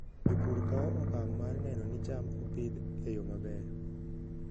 Jopur kawo okang' mar neno ni cham opidh e yo maber.